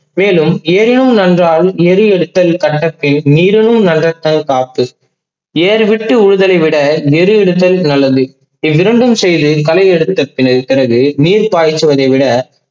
மேலும் எறியும் நன்றால் எரு எடுத்தால் நீடும்முன் காத்து. ஏறு வெட்டி உழுவதை விட எரு விடுத்தல் நல்லது. இவ்விரண்டும் செயலில் கலை எடுத்தலில் இருக்கிறது நீர் பச்சுவதை விட